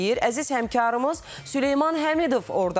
Əziz həmkarımız Süleyman Həmidov ordadır.